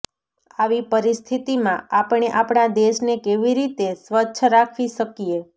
આવી પરિસ્થિતીમાં આપણે આપણા દેશને કેવી રીતે સ્વચ્છ રાખી શકીએ